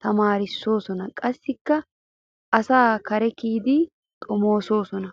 tamaarissoosona qassikka asaakka kare kiydi xomoosoosona.